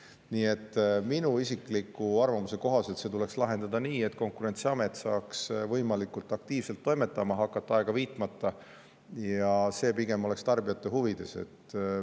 Nii et minu isikliku arvamuse kohaselt tuleks see lahendada nii, et Konkurentsiamet saaks võimalikult aktiivselt ja aega viitmata hakata toimetama, ja see oleks pigem tarbijate huvides.